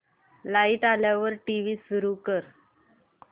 light आल्यावर TV सुरू कर